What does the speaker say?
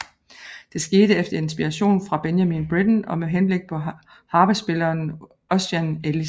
Det skete efter inspiration fra Benjamin Britten og med henblik på harpespilleren Ossian Ellis